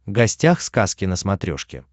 гостях сказки на смотрешке